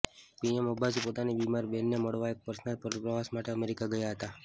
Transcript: PM Abbasi પોતાની બિમારી બેનને મળવા એક પર્સનલ પ્રવાસ માટે અમેરિકા ગયા હતા